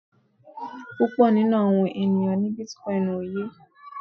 Púpọ̀ nínú àwọn ènìyàn ní bitcoin ó yé.